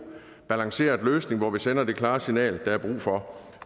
balanceret løsning hvor vi sender det klare signal der er brug for